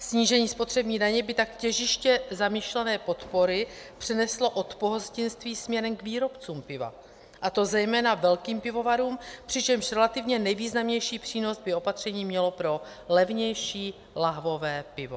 Snížení spotřební daně by tak těžiště zamýšlené podpory přeneslo od pohostinství směrem k výrobcům piva, a to zejména velkým pivovarům, přičemž relativně nejvýznamnější přínos by opatření mělo pro levnější lahvové pivo.